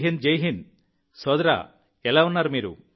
జై హింద్ జై హింద్ సోదరా మీరు ఎలా ఉన్నారు